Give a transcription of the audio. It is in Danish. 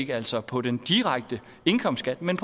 altså på den direkte indkomstskat men